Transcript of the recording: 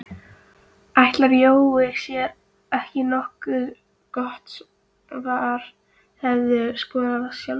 Ætli Jói sé ekki nokkuð gott svar Hefurðu skorað sjálfsmark?